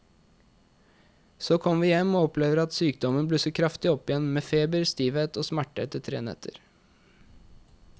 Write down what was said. Så kommer vi hjem og opplever at sykdommen blusser kraftig opp igjen med feber, stivhet og smerter etter tre netter.